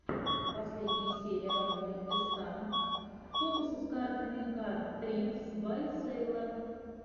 последняя серия роммель эска фокусы с картами кард трикс бай сэйлор